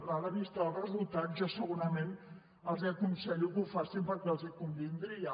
a la vista dels resultats jo segurament els aconsello que ho facin perquè els convindria